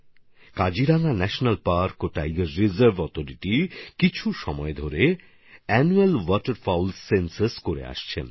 Kaziranga national park and tiger reserve authority কিছুকাল ধরেই বার্ষিক জলকুক্কুট গণনা করে আসছে